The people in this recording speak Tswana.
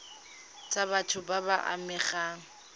tsa batho ba ba amegang